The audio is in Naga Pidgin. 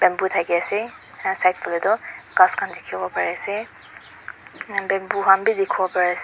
bamboo dakhi ase side side phale toh ghas khan dekhibo bari ase bamboo khan bi dekhibo bari ase.